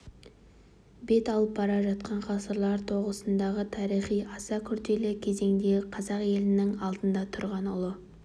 бет алып бара жатқан ғасырлар тоғысындағы тарихи аса күрделі кезеңдегі қазақ елінің алдында тұрған ұлы